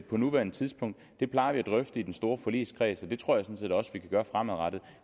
på nuværende tidspunkt det plejer vi at drøfte i den store forligskreds og det tror jeg sådan set også vi kan gøre fremadrettet